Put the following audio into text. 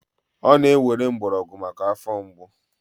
ọ na-ewere mgbọrọgwụ maka afọ mgbu